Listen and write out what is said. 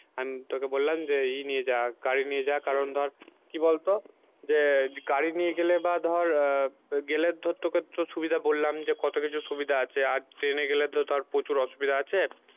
আমি তোকে বললাম যে ই নিয়ে যা গাড়ি নিয়ে যা কারণ ধর কি বলতো যে গাড়ি নিয়ে গেলে বা ধর আহ গেলে ধর তোকে তোর সুবিধা বললাম যে কত কিছু সুবিধা আছে আর ট্রেনে গেলে তো তার প্রচুর অসুবিধা আছে